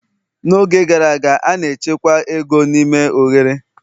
n'oge gara aga, a na-echekwa ego n'ime oghere